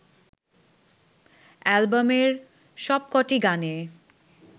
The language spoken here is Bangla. অ্যালবামের সবকটি গানে